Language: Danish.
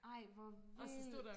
ej hvor vildt